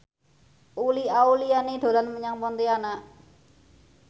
Uli Auliani dolan menyang Pontianak